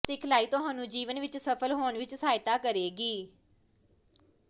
ਸਿਖਲਾਈ ਤੁਹਾਨੂੰ ਜੀਵਨ ਵਿਚ ਸਫ਼ਲ ਹੋਣ ਵਿਚ ਸਹਾਇਤਾ ਕਰੇਗੀ